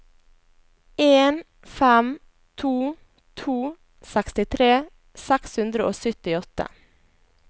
en fem to to sekstitre seks hundre og syttiåtte